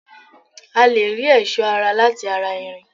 A lè rí ẹ̀sọ́ ara láti ara irin